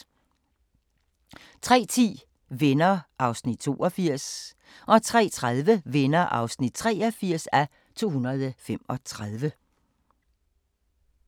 03:10: Venner (82:235) 03:30: Venner (83:235)